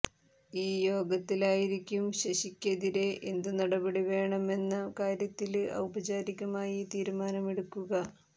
ഈ യോഗത്തിലായിരിക്കും ശശിക്കെതിരെ എന്തു നടപടി വേണമെന്ന കാര്യത്തില് ഔപചാരികമായി തീരുമാനമെടുക്കുക